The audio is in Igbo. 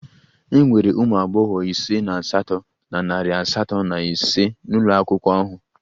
E nwere ụmụ agbọghọ ise na asatọ na narị asatọ na ise n'ụlọ akwụkwọ ahụ